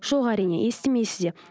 жоқ әрине естімейсіз де